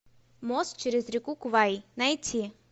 мост через реку квай найти